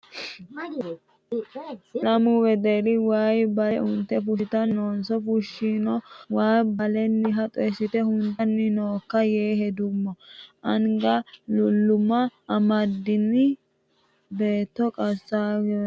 Lamu wedelli waayi bale unte fushittanni noonso fulino waa baleniha xoyisite huntanni nookka yeewe heduummo anga luluma amadini beetti qasarawe qixawe no.